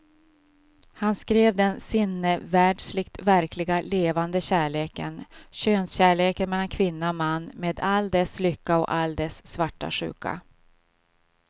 Han skrev den sinnevärldsligt verkliga levande kärleken, könskärleken mellan kvinna och man med all dess lycka och all dess svarta sjuka.